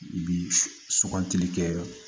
Bi sugantili kɛ